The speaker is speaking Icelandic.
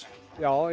já ég